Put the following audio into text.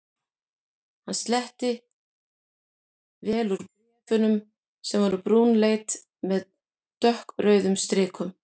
Hann sletti vel úr bréf- unum sem voru brúnleit með dökkrauðum strikum.